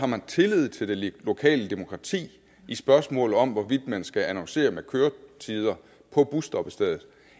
man har tillid til det lokale demokrati i spørgsmålet om hvorvidt man skal annoncere med køretider på busstoppestedet